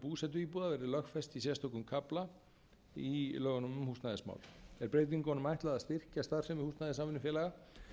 búsetuíbúða verði lögfest í sérstökum kafla inn í lögunum um húsnæðismál er breytingunum ætlað að styrkja starfsemi húsnæðissamvinnufélaga